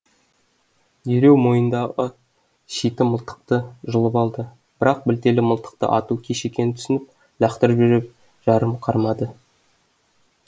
дереу мойнындағы шиті мылтықты жұлып алды бірақ білтелі мылтықты ату кеш екенін түсініп лақтырып жіберіп жанын қарманды